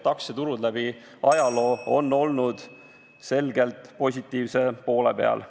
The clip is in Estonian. Aktsiaturud on läbi ajaloo olnud selgelt positiivse poole peal.